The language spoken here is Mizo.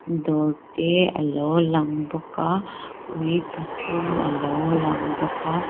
dawr te alo lang bawk a ui pathum alo lang bawk a.